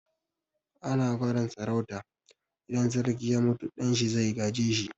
Ana gadon sarauta, idan sarki ya mutu ɗan shi zai gaje shi.